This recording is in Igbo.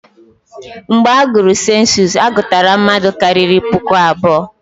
Mgbe agụrụ sensus, a gụtara mmadụ karịrị puku abụọ.